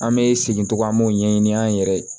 An bɛ segin togo min an b'o ɲɛɲini an yɛrɛ ye